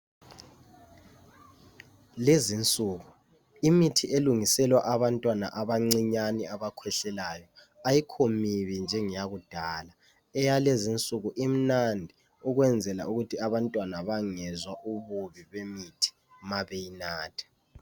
Lenzisuku imithi elungiselwa abantwana abancinyane abakhwehlelayo ayikho mibi njengeyakudala. Eyalezi insuku imnandi ukwenzela ukuthi abantwana bangezwa ububi bemithi mabeyinatha.